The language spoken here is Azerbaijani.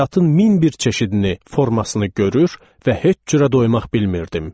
Həyatın min bir çeşidini, formasını görür və heç cürə doymak bilmirdim.